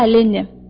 Hə, Linni.